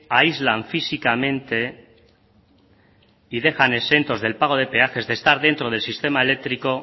aíslan físicamente y dejan exentos del pago de peajes de estar dentro del sistema eléctrico